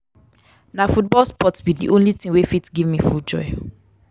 na football sports be di only thing wey fit give me full joy.